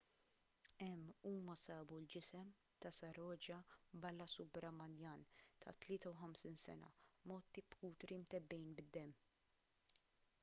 hemm huma sabu l-ġisem ta' saroja balasubramanian ta' 53 sena mgħotti b'kutri mtebbgħin bid-demm